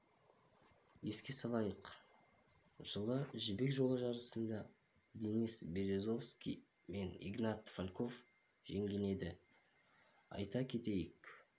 еске салайық жылы жібек жолы жарысында денис березовский мен игнат фальков жеңген еді айта кетейік